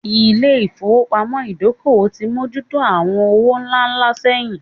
Ilé ìfowópamọ́ Ìdókòwò ti mójú tó àwọn owó ńlá ńlá sẹ́yìn